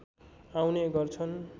आउने गर्छन्